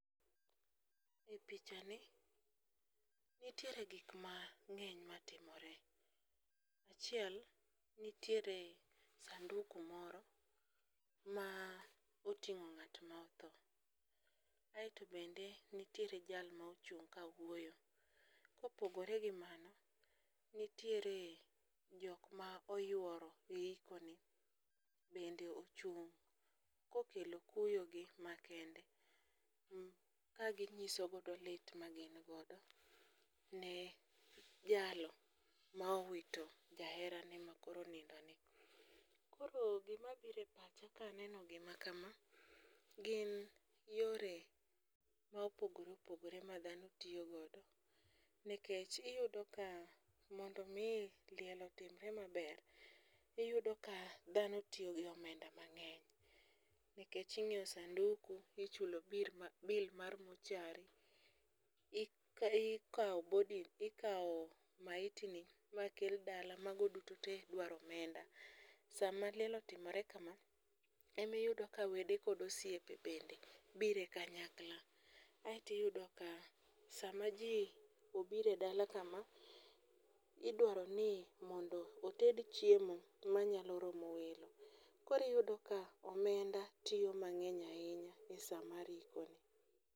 E pichani nitiere gikmang'eny matimore, achiel nitiere sanduku moro ma oting'o ng'at ma otho aeto bende nitiere jal ma ochung' ka wuoyo. Kopogore gi mano, nitiere jokma oyuoro e ikoni bende ochung' kokelo kuyogi makende kanyisogodo lit magingodo ne jalo ma owito jaherane makoro onindoni. Koro gimabiro e pacha kaneno gimakama gin yore ma opogore opogore ma dhano tiyogodo nikech iyudo ka mondo omi liel otimre maber, iyudo ka dhano tiyo gi omenda mang'eny nikech inyieo sanduku, ichulo bill mar mochari, ikawo maitini makel dala mago duto te dwaro omenda. Sama liel otimore kama, emiyudo ka wede kod osiepe bende bire kanyakla aeto iyudo ka sama ji obiro e dala kama, idwaro ni mondo oted chiemo manyalo romo welo, koro iyudo ka omenda tiyo mang'eny ahinya e sa mar ikoni.